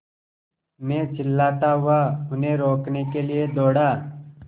मैं चिल्लाता हुआ उन्हें रोकने के लिए दौड़ा